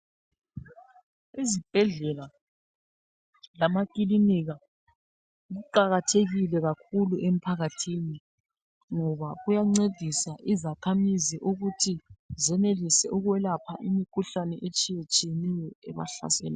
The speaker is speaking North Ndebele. Izibhedlela lamakilinika kuqakathekile kakhulu emphakathini ngoba kuyancedisa izakhamuzi ukuthi zenelise ukwelapha imikhuhlane etshiyetshiyeneyo ebahlaselayo.